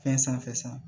Fɛn sanfɛ